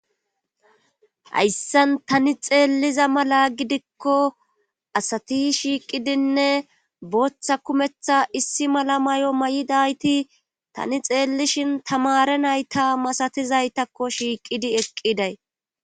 hayssan tani xeelliza mala gidikko asati shiiqidinne booththa kumeththa issi mala may7o may7idayti tani xeellishin tamare nayta masatizaytakko shiiqidi eqqiday